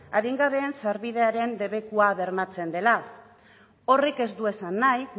adingabeen sarbidearen debekua bermatzen dela horrek ez du esan nahi